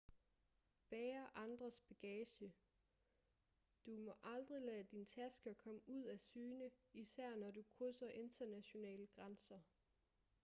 bære andres bagage du må aldrig lade dine tasker komme ud af syne især når du krydser internationale grænser